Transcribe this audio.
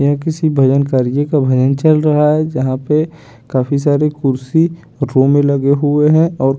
यह किसी भजन कार्जी का भजन चल रहा है जहां पे काफी सारे कुर्सी रो में लगे हुए हैं और--